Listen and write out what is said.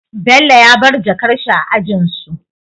Bello ya bar jakar shi a ajinsu